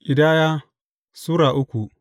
Ƙidaya Sura uku